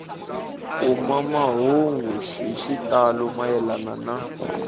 kuma mahungu hi xitalo mayelana